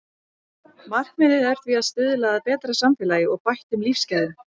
Markmiðið er því að stuðla að betra samfélagi og bættum lífsgæðum.